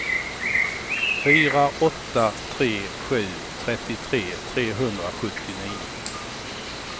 fyra åtta tre sju trettiotre trehundrasjuttionio